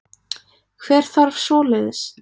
Hver þarf svoleiðis?